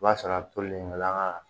O b'a sɔrɔ a tolen an ga